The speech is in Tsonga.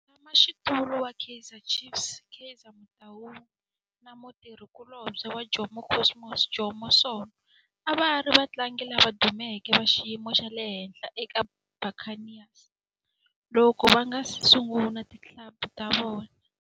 Mutshama xitulu wa Kaizer Chiefs Kaizer Motaung na mutirhi kulobye wa Jomo Cosmos Jomo Sono a va ri vatlangi lava dumeke va xiyimo xa le henhla eka Buccaneers loko va nga si sungula ti club ta vona.